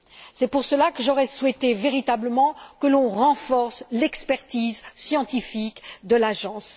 C'est pour cela que j'aurais souhaité véritablement que l'on renforce l'expertise scientifique de l'agence.